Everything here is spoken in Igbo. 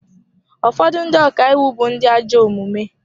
Ụfọdụ ndị ọka iwu bụ ndị ajọ omume.